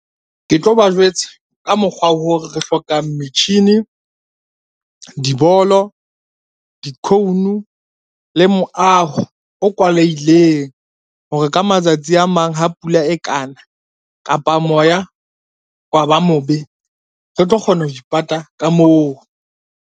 Ke tlo ba jwetsa ka mokgwa oo re hlokang metjhini, dibolo, di-cone le moaho o kwalehileng hore ka matsatsi a mang ha pula e kana kapa moya wa ba mobe, re tlo kgona ho ipata ka moo.